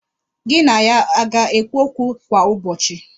Gị na ya a ga-ekwu okwu kwa ụbọchị?